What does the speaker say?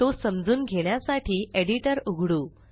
तो समजून घेण्यासाठी एडिटर उघडू